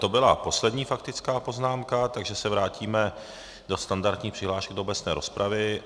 To byla poslední faktická poznámka, takže se vrátíme do standardních přihlášek do obecné rozpravy.